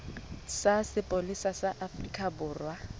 sa sepolesa sa afrika borwa